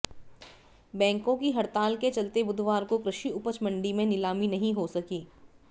बैंकों की हड़ताल के चलते बुधवार को कृषि उपज मंडी में नीलामी नहीं हो सकी